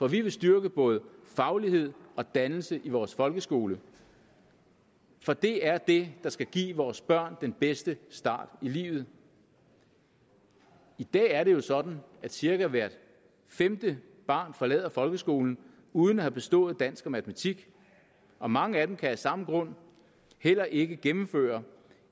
vi vil styrke både faglighed og dannelse i vores folkeskole for det er det der skal give vores børn den bedste start i livet i dag er det jo sådan at cirka hvert femte barn forlader folkeskolen uden at have bestået dansk og matematik og mange af dem kan af samme grund heller ikke gennemføre